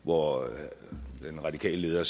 hvor den radikale leder